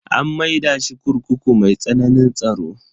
An maida shi kurkuku mai tsananin tsaro.